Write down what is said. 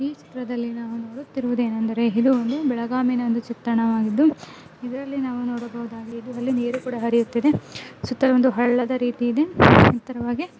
ಈ ಚಿತ್ರದಲ್ಲಿ ನಾವು ನೋಡುತ್ತಿರುವುದೇನೆಂದರೆ ಇದು ಒಂದು ಬೆಳಗಾಂನ ಒಂದು ಚಿತ್ರಣವಾಗಿದ್ದು ಇದರಲ್ಲಿ ನಾವು ನೋಡಬಹುದು ನೀರು ಕೂಡಾ ಹರಿಯುತ್ತಿದೆ ಸುತ್ತಲೂ ಒಂದು ಹಳ್ಳದ ರೀತಿಯಲ್ಲಿ ಇದೆ. ಎತ್ತರವಾಗಿ--